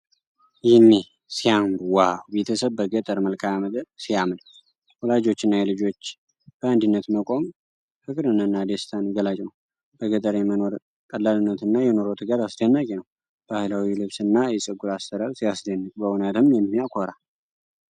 ይኔ ሲያምሩ ዋው! ቤተሰብ በገጠር መልክዓ ምድር ሲያምር። የወላጆችና የልጆች በአንድነት መቆም ፍቅርንና ደስታን ገላጭ ነው። በገጠር የመኖር ቀላልነትና የኑሮ ትጋት አስደናቂ ነው። ባህላዊው ልብስና የፀጉር አሠራር ሲያስደንቅ! በእውነትም የሚያኮራ።